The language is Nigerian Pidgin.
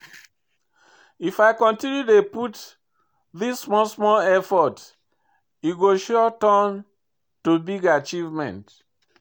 If I continue dey put this small small effort, e go sure turn to big achievement.